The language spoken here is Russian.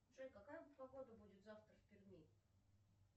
джой какая погода будет завтра в перми